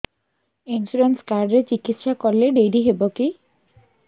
insurance card ରେ ଚିକିତ୍ସା କଲେ ଡେରି ହବକି